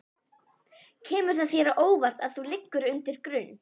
Kemur það þér á óvart að þú liggir undir grun?